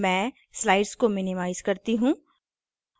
मैं slide को minimize करती हूँ